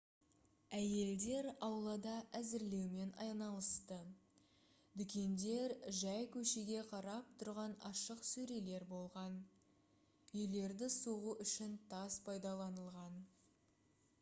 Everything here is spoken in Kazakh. әйелдер аулада әзірлеумен айналысты дүкендер жай көшеге қарап тұрған ашық сөрелер болған үйлерді соғу үшін тас пайдаланылған